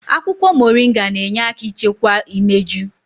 Akwụkwọ moringa na-enye aka ichekwa imeju.